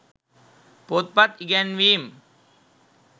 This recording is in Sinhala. පොත්පත් ඉගැන්වීම්